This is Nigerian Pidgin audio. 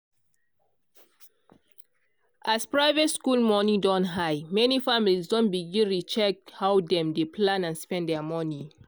as private school moni don high many families don begin re-check how dem dey plan and spend their moni.